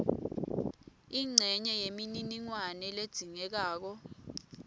incenye yemininingwane ledzingekako